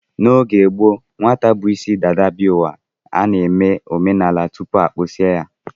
N'oge gboo, nwata bu isi dada bịa ụwa, a na-eme omenala tupu a kpụsịa ya